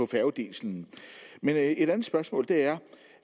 færgediesel men et andet spørgsmål er